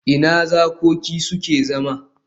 Ina zakoki suke zama?